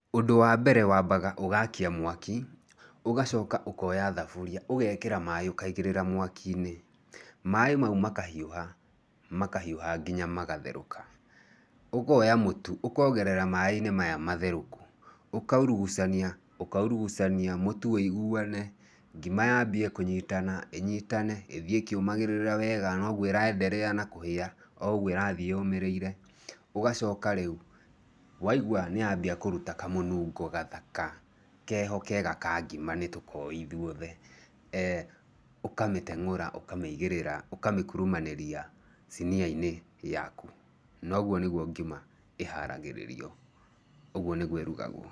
Ũndũ wa mbere wambaga ũgakia mwaki, ũgacoka ũkoya thaburia ũgekĩra maĩ ũkaigĩrĩra mwaki-inĩ, maĩ mau makahiũha, makahiũha nginya magatherũka ,ũkoya mũtu ũkongera maĩ-inĩ maya matherũku, ũkaurugucania, ũkaurugucania mũtu wĩiguane, ngima yambie kũnyitana, ĩnyitane ĩthiĩ ĩkĩũmagĩrĩra wega noguo ĩra endelea na kũhĩa na ougou ĩrathiĩ yũmĩrĩire ũgacoka rĩũ waigũa nĩambia kũruta kamũnungo kathaka keho kega ka ngima nĩ tũkoĩ ithuothe, ũkamĩteng'ũra ũkamĩigĩrĩra ũkamĩkurumanĩria [sinia] -inĩ yaku, nogũo nĩgũo ngima ĩharagĩrirwo, ũguo nĩgũo ĩrugagwo.